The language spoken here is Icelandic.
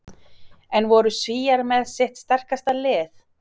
En voru Svíar með sitt sterkasta lið?